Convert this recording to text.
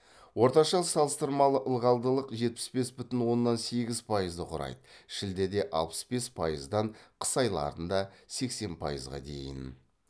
орташа салыстырмалы ылғалдылық жетпіс бес бүтін оннан сегіз пайызды құрайды шілдеде алпыс бес пайыздан қыс айларында сексен пайызға дейін